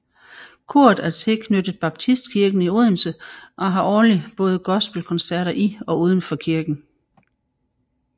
Koret er tilknyttet Baptistkirken i Odense og har årligt både gospel koncerter i og uden for kirken